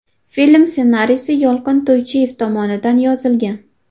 Film ssenariysi Yolqin To‘ychiyev tomonidan yozilgan.